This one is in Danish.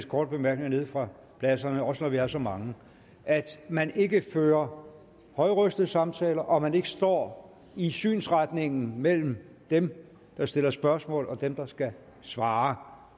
korte bemærkninger nede fra pladserne også når vi er så mange at man ikke fører højrøstede samtaler og at man ikke står i synsretningen mellem dem der stiller spørgsmål og dem der skal svare